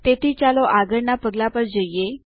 તેથી ચાલો આગળના પગલાં પર જઈએ